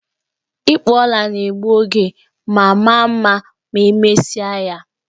Ịkpụ ọla na-egbu oge, mana maa mma ma emesia ya